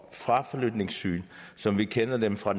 fraflytningssyn som vi kender dem fra